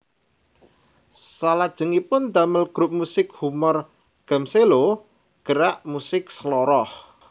Salajengipun damel grup musik humor Gmselo Gerak Musik Seloroh